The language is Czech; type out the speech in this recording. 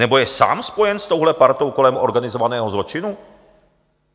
Nebo je sám spojen s touhle partou kolem organizovaného zločinu?